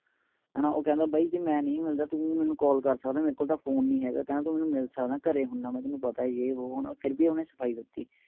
ਹੇਨਾ ਉਹ ਕੇਂਦਾ ਭਾਈ ਜੇ ਮੈ ਨਹੀ ਮਿਲਦਾ ਤੂੰ ਮੈਨੂੰ call ਕਰ ਸਕਦਾ ਮੇਰੇਕੋਲ ਤਾ phone ਨਹੀਂ ਹੇਗਾ ਕੇਂਦਾ ਤੂੰ ਮੇਨੂ ਮਿਲ ਸਕਦਾ ਮੈਂ ਘਰੇ ਹੁਨਾ ਮੈ ਤੈਨੂੰ ਪਤਾ ਹੀ ਏ ਵੋ ਫਿਰ ਵੀ ਉਨੇ ਸਫਾਈ ਦਿਤੀ